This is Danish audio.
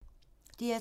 DR2